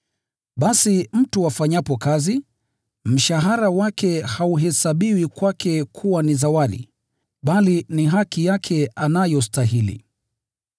Basi mtu afanyapo kazi, mshahara wake hauhesabiwi kwake kuwa ni zawadi, bali ni haki yake anayostahili.